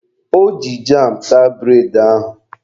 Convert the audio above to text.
O ji jam taa bụredị ahụ.